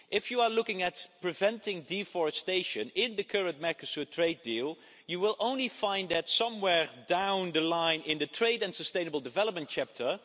If you are looking at preventing deforestation, in the current Mercosur trade deal, you will only find it somewhere down the line in the trade and sustainable development chapter.